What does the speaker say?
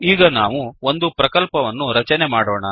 ಈಗ ನಾವು ಒಂದು ಪ್ರಕಲ್ಪವನ್ನು ರಚನೆ ಮಾಡೋಣ